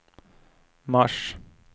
mars